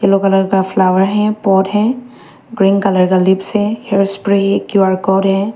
Yellow colour का flower है pot है ग्रीन कलर का लिप्स है हेयर स्प्रे है क्यू_आर कोड है।